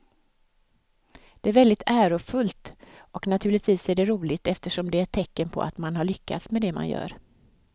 Det är väldigt ärofyllt och naturligtvis är det roligt eftersom det är ett tecken på att man har lyckats med det man gör.